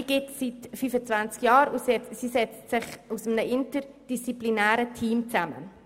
Diese gibt es seit 25 Jahren, und sie setzt sich aus einem interdisziplinären Team zusammen.